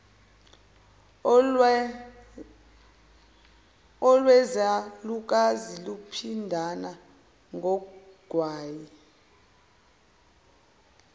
olwezalukazi luphindana ngogwayi